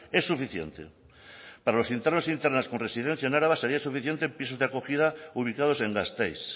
es suficiente para los internos e internas con residencia en araba sería suficiente en pisos de acogida ubicados en gasteiz